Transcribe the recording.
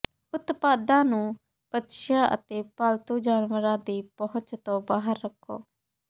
ਉਤਪਾਦਾਂ ਨੂੰ ਬੱਚਿਆਂ ਅਤੇ ਪਾਲਤੂ ਜਾਨਵਰਾਂ ਦੀ ਪਹੁੰਚ ਤੋਂ ਬਾਹਰ ਰੱਖੋ